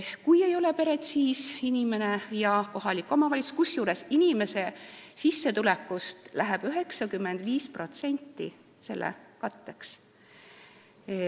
Kui tal peret ei ole, siis tasuvad inimene ja kohalik omavalitsus, kusjuures inimese sissetulekust läheb 95% nende kulude katteks.